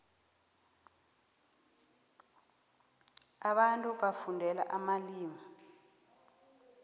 abantu bafundela amalimu